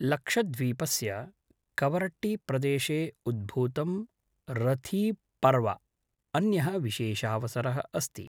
लक्षद्वीपस्य कवरट्टीप्रदेशे उद्भूतं रथीब्पर्व अन्यः विशेषावसरः अस्ति।